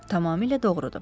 Tamamilə doğrudur.